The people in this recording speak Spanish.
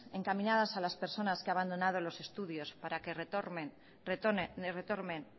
encaminadas a las personas que han abandonado los estudios para que retomen